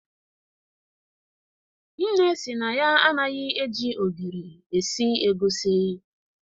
Nne sị na ya anaghị eji ogiri esi egusi.